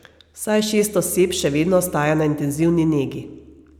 Vsaj šest oseb še vedno ostaja na intenzivni negi.